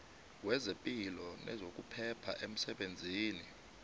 wezepilo nezokuphepha emsebenzini